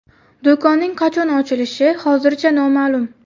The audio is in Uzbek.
Do‘konning qachon ochilishi hozircha noma’lum.